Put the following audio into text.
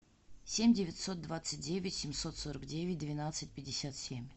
семь девятьсот двадцать девять семьсот сорок девять двенадцать пятьдесят семь